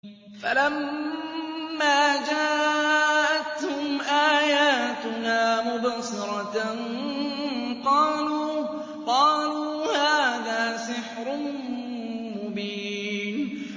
فَلَمَّا جَاءَتْهُمْ آيَاتُنَا مُبْصِرَةً قَالُوا هَٰذَا سِحْرٌ مُّبِينٌ